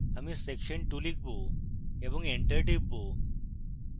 আমি section 2 লিখব এবং enter type